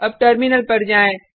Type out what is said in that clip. अब टर्मिनल पर जाएँ